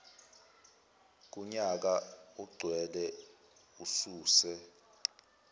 kunyaka ogcwele ususe